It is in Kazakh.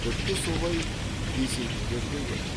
тіпті солай десетіндер де көп